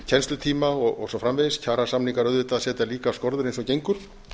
kennslutíma og svo framvegis kjarasamningar auðvitað setja líka skorður eins og gengur